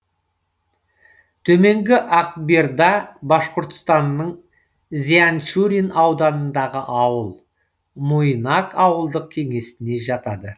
төменгі акберда башқұртстанның зианчурин ауданындағы ауыл муйнак ауылдық кеңесіне жатады